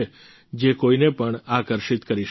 જે કોઈને પણ આકર્ષિત કરી શકે છે